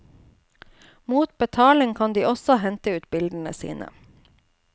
Mot betaling kan de også hente ut bildene sine.